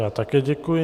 Já také děkuji.